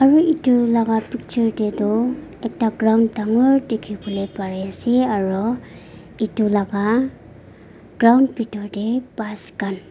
eh etu laga picture teto ekta ground dangor dekhi bole pari ase aro etu laga ground bitor te bus khan.